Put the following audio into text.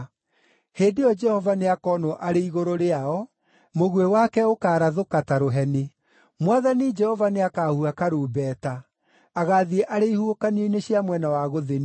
Hĩndĩ ĩyo Jehova nĩakoonwo arĩ igũrũ rĩao; mũguĩ wake ũkaarathũka ta rũheni. Mwathani Jehova nĩakahuha karumbeta; agaathiĩ arĩ ihuhũkanio-inĩ cia mwena wa gũthini,